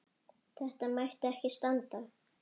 Þetta mætti ekki standa.